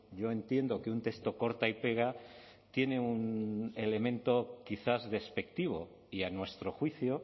yo entiendo que un texto corta y pega tiene un elemento quizás despectivo y a nuestro juicio